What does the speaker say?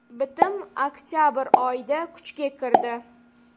Bitim oktabr oyida kuchga kirdi.